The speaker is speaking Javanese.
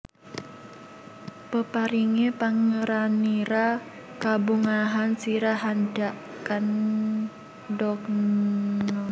Peparinge Pangeranira kabungahan sira handhak kandhakna